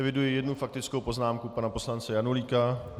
Eviduji jednu faktickou poznámku pana poslance Janulíka.